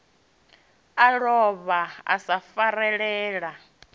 a lovha wa sa farelela